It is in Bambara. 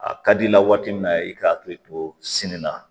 A ka di i la waati min na i ka hakili to sini na